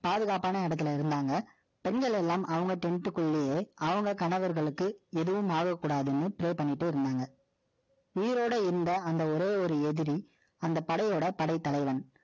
பாதுகாப்பான இடத்தில, இருந்தாங்க. பெண்கள் எல்லாம், அவங்க tent க்குள்ளேயே, அவங்க கணவர்களுக்கு, எதுவும் ஆகக்கூடாதுன்னு, pray பண்ணிட்டு இருந்தாங்க. உயிரோட இருந்த, அந்த, ஒரே ஒரு எதிரி, படைத்தலைவன்